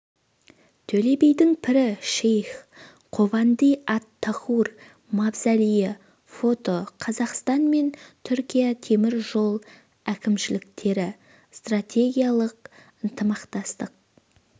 төле бидің пірі шейх хованди ат-тахур мавзолейі фото қазақстан мен түркия темір жол әкімшіліктері стратегиялық ынтымақтастық